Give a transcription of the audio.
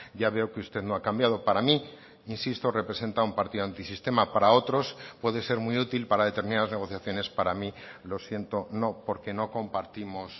ya veo que usted no ha cambiado para mí insisto representa a un partido antisistema para otros puede ser muy útil para determinadas negociaciones para mí lo siento no porque no compartimos